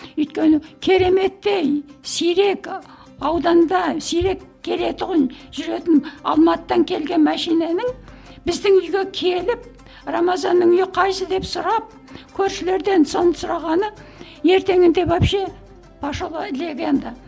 өйткені кереметтей сирек ауданда сирек келе тұғын жүретін алматыдан келген машинаның біздің үйге келіп рамазанның үйі қайсысы деп сұрап көршілерден соны сұрағаны ертеңінде вообще пошла легенда